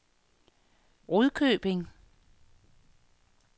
Rudkøbing